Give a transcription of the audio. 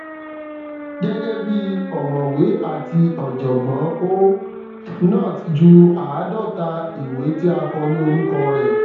gẹgẹ bi ọmọwé àti ọjọgbọn ó not jù àádọta ìwé tí a kọ ní orúkọ rẹ